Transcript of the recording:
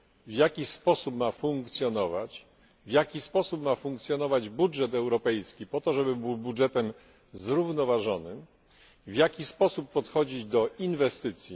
w jaki sposób ma funkcjonować, w jaki sposób ma funkcjonować budżet europejski po to, żeby był budżetem zrównoważonym, w jaki sposób podchodzić do inwestycji.